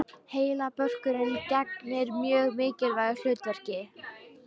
Heilabörkurinn gegnir mjög mikilvægu hlutverki.